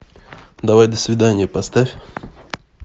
давай до свидания поставь